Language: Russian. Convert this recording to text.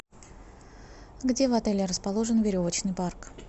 где в отеле расположен веревочный парк